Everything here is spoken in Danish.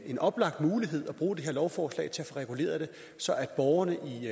en oplagt mulighed at bruge det her lovforslag til at få reguleret det så borgerne